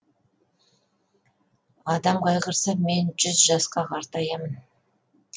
адамдар қайғырса мен жүз жасқа қартаямын